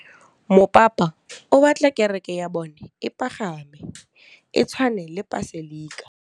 Mopapa o batla kereke ya bone e pagame, e tshwane le paselika.